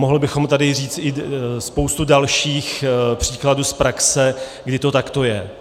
Mohli bychom tady i říct spoustu dalších příkladů z praxe, kdy to takto je.